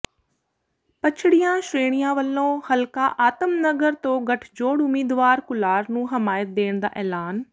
ਪਛੜੀਆਂ ਸ਼੍ਰੇਣੀਆਂ ਵੱਲੋਂ ਹਲਕਾ ਆਤਮ ਨਗਰ ਤੋਂ ਗਠਜੋੜ ਉਮੀਦਵਾਰ ਕੁਲਾਰ ਨੂੰ ਹਮਾਇਤ ਦੇਣ ਦਾ ਐਲਾਨ